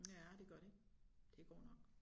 Ja det gør det det går nok